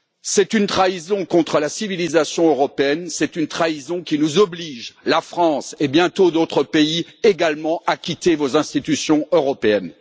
C'est une trahison contre la civilisation européenne, c'est une trahison qui nous oblige, la France et bientôt d'autres pays, également, à quitter vos institutions européennes.